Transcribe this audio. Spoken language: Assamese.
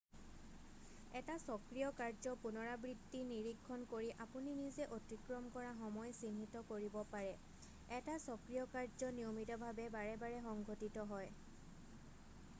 এটা চক্ৰীয় কাৰ্য পুনৰাবৃত্তি নিৰীক্ষণ কৰি আপুনি নিজে অতিক্ৰম কৰা সময় চিহ্নিত কৰিব পাৰে এটা চক্ৰীয় কাৰ্য নিয়মিতভাৱে বাৰে বাৰে সংঘটিত হয়